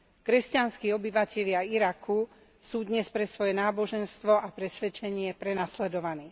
Kresťanskí obyvatelia Iraku sú dnes pre svoje náboženstvo a presvedčenie prenasledovaní.